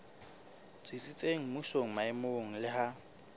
tsitsitseng mmusong maemong le ha